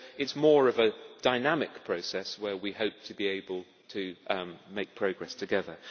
So it is more of a dynamic process, where we hope to be able to make progress together.